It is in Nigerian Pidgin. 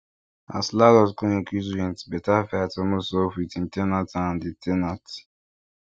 as landlord con increase rent better fight almost sup with ten ant and di ten ant